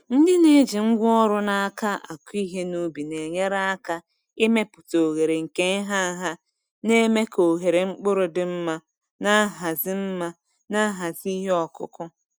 Ndị na-eji ngwa ọrụ n’aka akụ ihe n’ubi na-enyere aka ịmepụta oghere nke nha nha, na-eme ka ohere mkpụrụ dị mma na nhazi mma na nhazi ihe ọkụkụ.